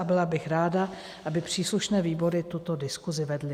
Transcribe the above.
A byla bych ráda, aby příslušné výbory tuto diskusi vedly.